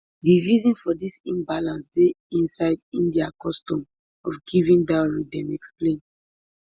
di reason for dis imbalance dey inside india custom of giving dowry dem explain